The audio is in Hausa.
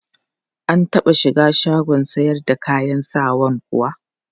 Ka taɓa shiga shagon sayar da kayan sawan kuwa?